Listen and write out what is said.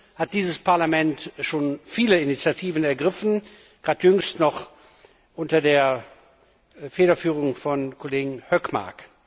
Dazu hat dieses Parlament schon viele Initiativen ergriffen, gerade jüngst noch unter der Federführung des Kollegen Hökmark.